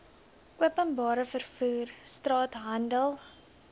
openbare vervoer straathandel